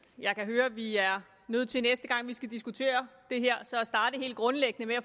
jeg kan høre at vi er nødt til næste gang vi skal diskutere det her så at starte helt grundlæggende med at